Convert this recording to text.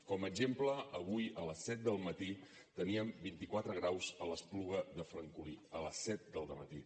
com a exemple avui a les set del matí teníem vint i quatre graus a l’espluga de francolí a les set del dematí